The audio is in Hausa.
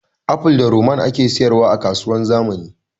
Aful da ruman ake sayar wa a kasuwar zamani